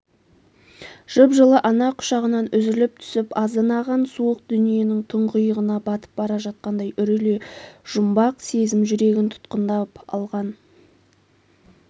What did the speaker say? жып-жылы ана құшағынан үзіліп түсіп азынаған суық дүниенің тұңғиығына батып бара жатқандай үрейлі жұмбақ сезім жүрегін тұтқындап алған